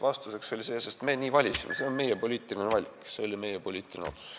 Vastuseks oli tegelikult see: meie nii valisime, see oli meie poliitiline valik, see oli meie poliitiline otsus.